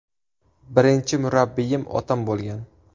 Birinchi murabbiyim otam bo‘lgan.